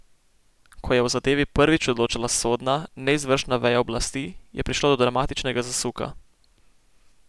Ko je o zadevi prvič odločala sodna, ne izvršna veja oblasti, je prišlo do dramatičnega zasuka.